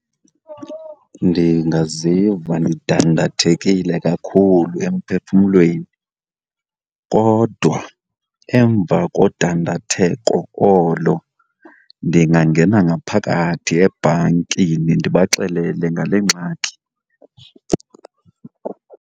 Ndingaziva ndidandathekile kakhulu emphefumlweni kodwa emva kodandatheko olo, ndingangena ngaphakathi ebhankini ndibaxelele ngale ngxaki.